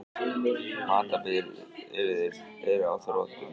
Matarbirgðir eru á þrotum.